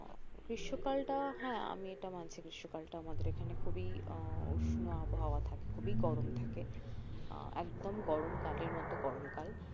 গ্রীষ্মকালটা হ্যাঁ আমি এটা মানছি গ্রীষ্মকালটা আমাদের এখানে খুবই উহ উষ্ণ আবহাওয়া থাকে খুবই গরম থাকে আহ একদম গরমকালের মতো গরমকাল